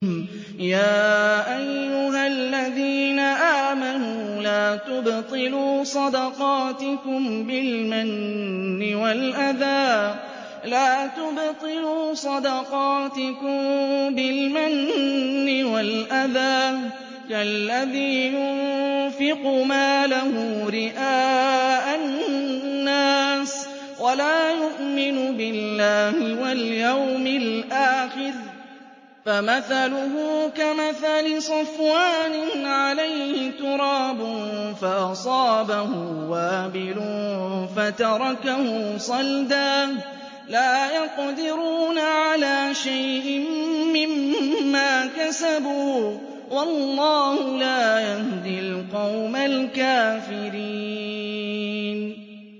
يَا أَيُّهَا الَّذِينَ آمَنُوا لَا تُبْطِلُوا صَدَقَاتِكُم بِالْمَنِّ وَالْأَذَىٰ كَالَّذِي يُنفِقُ مَالَهُ رِئَاءَ النَّاسِ وَلَا يُؤْمِنُ بِاللَّهِ وَالْيَوْمِ الْآخِرِ ۖ فَمَثَلُهُ كَمَثَلِ صَفْوَانٍ عَلَيْهِ تُرَابٌ فَأَصَابَهُ وَابِلٌ فَتَرَكَهُ صَلْدًا ۖ لَّا يَقْدِرُونَ عَلَىٰ شَيْءٍ مِّمَّا كَسَبُوا ۗ وَاللَّهُ لَا يَهْدِي الْقَوْمَ الْكَافِرِينَ